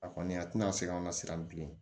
A kɔni a tɛna se ka an na siran bilen